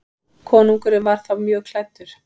Konungur var þá mjög klæddur.